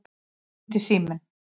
Þá hringdi síminn.